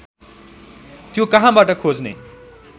त्यो कहाँबाट खोज्ने